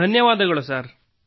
ಧನ್ಯವಾದಗಳು ಸರ್